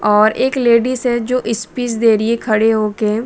और एक लेडीज है जो स्पीच दे रही है खड़े होके।